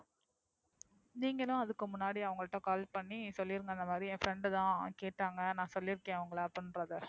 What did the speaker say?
நீங்களும் அதுக்கு முன்னாடி அவங்க கிட்ட Call பண்ணி சொல்றீங்க. இந்த மாறி என்னோட Friend தான் கேட்டாங்க நான் சொல்லியிருக்கிறேன் உங்கள அப்டிங்கறத